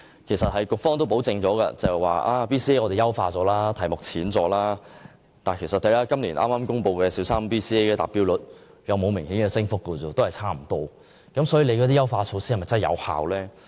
其實，局方表示已優化 BCA， 題目較為淺易，但剛公布的小三 BCA 達標率卻沒有明顯升幅，與之前相若，究竟優化措施是否有效？